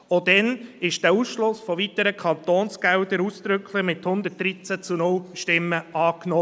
Auch damals wurde der Ausschluss von weiteren Kantonsgeldern ausdrücklich mit 113 zu 0 Stimmen angenommen.